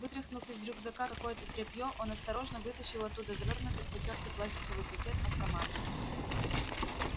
вытряхнув из рюкзака какое-то тряпье он осторожно вытащил оттуда завёрнутый в потёртый пластиковый пакет автомат